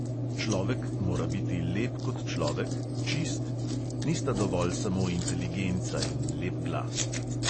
Človek mora biti lep kot človek, čist, nista dovolj samo inteligenca in lep glas.